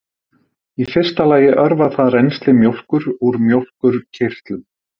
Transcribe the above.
Í fyrsta lagi örvar það rennsli mjólkur úr mjólkurkirtlum.